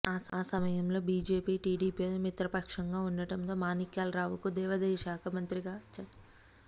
ఆ సమయంలో బీజేపీ టీడీపీతో మిత్రపక్షంగా ఉండటంతో మాణిక్యాలరావుకు దేవాదాయ శాఖ మంత్రిగా చంద్రబాబు నాయుడు అవకాశం కల్పించారు